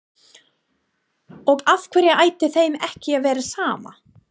Og af hverju ætti þeim ekki að vera sama?